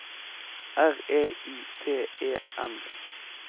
R E I T E N